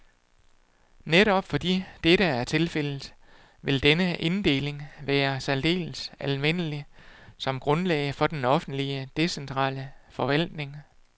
Netop fordi dette er tilfældet, ville denne inddeling være særdeles anvendelig som grundlag for den offentlige, decentrale forvaltning.